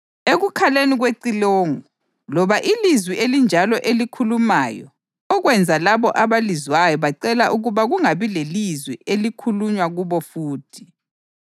ekukhaleni kwecilongo loba ilizwi elinjalo elikhulumayo, okwenza labo abalizwayo bacela ukuba kungabi lelizwi elikhulunywa kubo futhi,